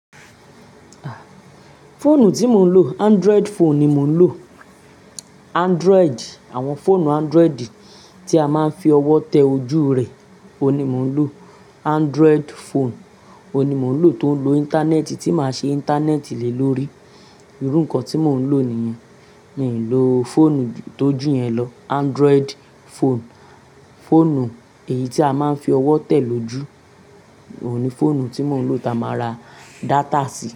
Fóònù tí mò ń lò, Android phone ni mò ń lò. Android, àwọn fóònù Android tí a máa ń fi ọwọ́ tẹ ojú rẹ̀, òní mò ń lò. Android phone òní mò ń lò tó ń lo Íńtánẹ́ẹ̀tì, tí máa ṣe Íńtánẹ́ẹ̀tì lè lórí. Irú nǹkan tí mò ń lò nìyẹn. Mi ò lò fóònù tó jù yẹn lọ. Android phone, fóònù èyí tí a máa ń fi ọwọ́ tẹ̀ lójú, òun ní fóònù tí mò ń lò táa máa ra data sí.